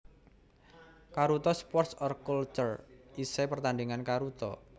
Karuta Sports or Culture Esai pertandingan karuta